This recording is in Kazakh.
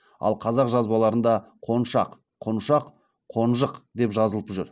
ал қазақ жазбаларында қоншақ құншақ қонжық деп жазылып жүр